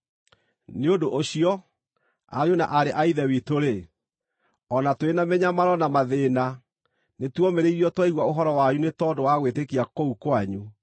Nĩ ũndũ ũcio, ariũ na aarĩ a Ithe witũ-rĩ, o na tũrĩ na mĩnyamaro na mathĩĩna nĩtuomĩrĩirio twaigua ũhoro wanyu nĩ tondũ wa gwĩtĩkia kũu kwanyu.